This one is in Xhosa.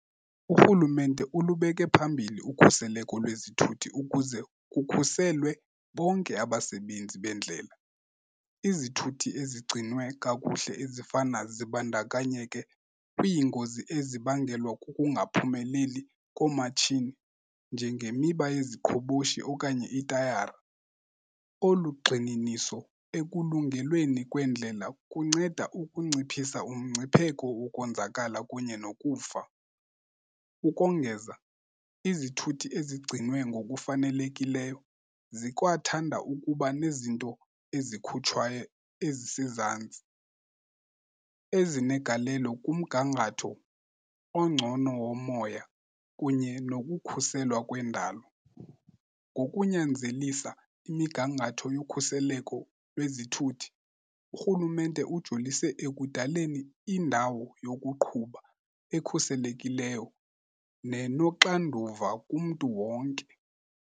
URhulumente ulubeke phambili ukhuseleko lwezithuthi ukuze kukhuselwe bonke abasebenzi beendlela. Izithuthi ezigcinwe kakuhle ezifana zibandakanyeke kwiingozi ezibangelwa kukungaphumeleli koomatshini njengemiba yeziqhoboshi okanye itayara. Olu gxininiso ekulungelweni kwendlela kunceda ukunciphisa umngcipheko wokonzakala kunye nokufa. Ukongeza izithuthi ezigcinwe ngokufanelekileyo zikwathanda ukuba nezinto ezikhutshwayo ezisezantsi ezinegalelo kumgangatho ongcono womoya kunye nokukhuselwa kwendalo. Ngokunyanzelisa imigangatho yokhuseleko lwezithuthi uRhulumente ujolise ekudaleni indawo yokuqhuba ekhuselekileyo nenoxanduva kumntu wonke.